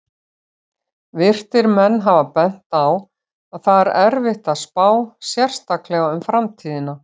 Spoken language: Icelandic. Vitrir menn hafa bent á að það er erfitt að spá, sérstaklega um framtíðina!